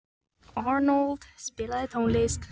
Arnold, spilaðu tónlist.